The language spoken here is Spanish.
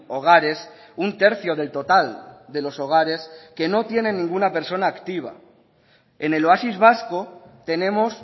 hogares un tercio del total de los hogares que no tienen ninguna persona activa en el oasis vasco tenemos